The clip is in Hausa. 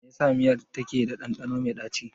Me yasa miyar take da ɗanɗano mai ɗaci.